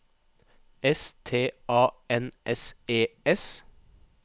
S T A N S E S